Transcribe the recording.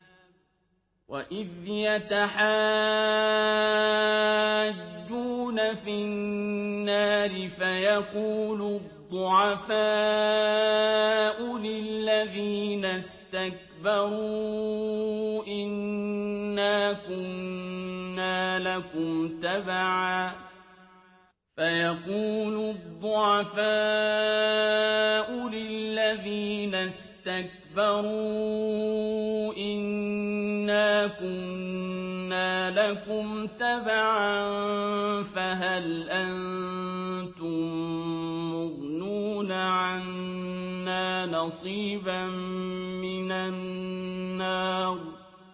وَإِذْ يَتَحَاجُّونَ فِي النَّارِ فَيَقُولُ الضُّعَفَاءُ لِلَّذِينَ اسْتَكْبَرُوا إِنَّا كُنَّا لَكُمْ تَبَعًا فَهَلْ أَنتُم مُّغْنُونَ عَنَّا نَصِيبًا مِّنَ النَّارِ